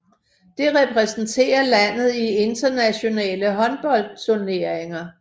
Det repræsenterer landet i internationale håndboldturneringer